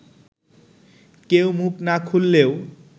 কেউ মুখ না খুললেও